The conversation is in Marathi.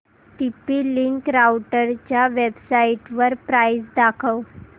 टीपी लिंक राउटरच्या वेबसाइटवर प्राइस दाखव